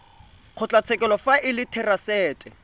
kgotlatshekelo fa e le therasete